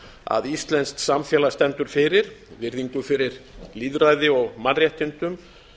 að íslenskt samfélag stendur fyrir virðingu fyrir lýðræði og mannréttindum